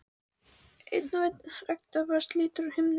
Einn og einn regndropa slítur úr himninum.